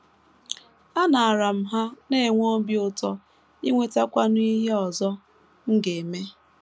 Anaara m ha, na - enwe obi ụtọ inwetakwanụ ihe ọzọ m ga - eme.